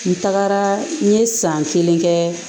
N tagara n ye san kelen kɛ